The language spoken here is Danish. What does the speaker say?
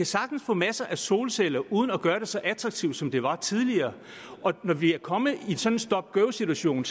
sagtens få masser af solceller uden at gøre det så attraktivt som det var tidligere og når vi er kommet i sådan en stop go situation